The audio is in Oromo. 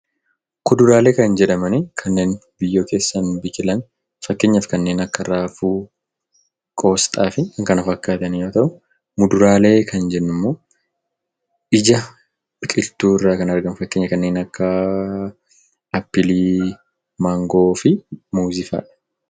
Kuduraalee kan jedhaman kanneen biyyoo keessaan biqilani. Fakkeenyaaf kanneen akka Raafuu, Qoisxaa fi kan kana fakkaatan yoo ta'u; Muduraalee kan jennu immoo ija biqiltuu irraa kan argamu. Fakkeenyaaf kanneen akka Appilii, Mangoo fi Muuzii fa'a.